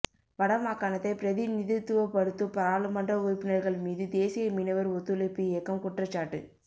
வடமாகாணத்தை பிரதிநிதித்துவப்படுத்தும் பாராளுமன்ற உறுப்பினர்கள் மீது தேசிய மீனவர் ஒத்துழைப்பு இயக்கம் குற்றச்சாட்டு